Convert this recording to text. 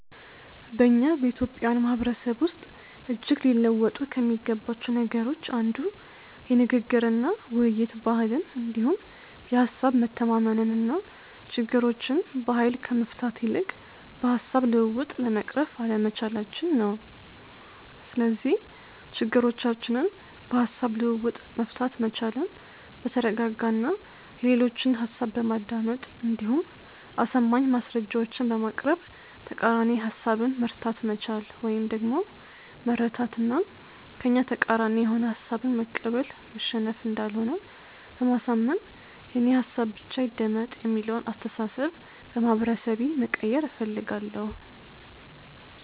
በእኛ በኢትዮጵያውያን ማህበረሰብ ውስጥ እጅግ ሊለወጡ ከሚገባቸው ነገሮች አንዱ የንግግር እና ውይይት ባህልን እንዲሁም የሀሳብ መተማመንን እና ችግሮችን በሀይል ከመፍታት ይልቅ በሀሳብ ልውውጥ ለመቅረፍ አለመቻላቸን ነው። ስለዚህ ችግሮቻችንን በሀሳብ ልውውጥ መፍታት መቻልን፤ በተረጋጋ እና የሌሎችን ሀሳብ በማዳመጥ እንዲሁም አሳማኝ ማስረጃዎችን በማቅረብ ተቃራኒ ሀሳብን መርታት መቻል ወይም ደግሞ መረታት እና ከእኛ ተቃራኒ የሆነ ሀሳብን መቀበል መሸነፍ እንዳልሆነ በማሳመን የእኔ ሀሳብ ብቻ ይደመጥ የሚለውን አስተሳሰብ በማህበረሰቤ መቀየር እፈልጋለሁ።